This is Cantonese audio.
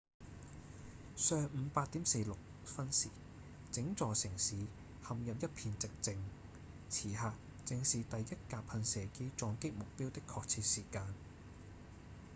上午8點46分時整座城市陷入一片寂靜此刻正是第一架噴射機撞擊目標的確切時間